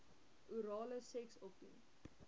orale seks opdoen